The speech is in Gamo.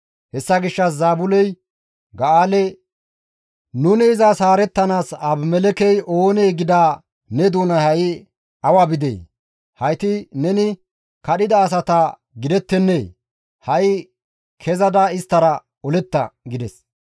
Hessa gishshas Zaabuley Ga7aale, « ‹Nuni izas haarettanaas Abimelekkey oonee?› gida ne doonay ha7i awa bidee? Hayti neni kadhida asata gidettennee? Ha7i kezada isttara oletta!» gides.